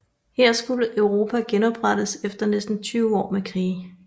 Her skulle Europa genoprettes efter næsten 20 år med krige